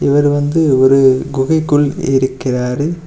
இவரு வந்து ஒரு குகைக்குள் இருக்கிறாரு.